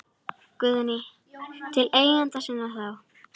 Guðný: Til eigenda sinna þá?